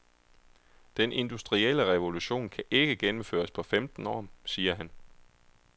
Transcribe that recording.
Den industrielle revolution kan ikke gennemføres på femten år, siger han.